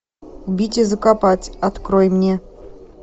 убить и закопать открой мне